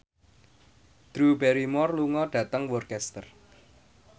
Drew Barrymore lunga dhateng Worcester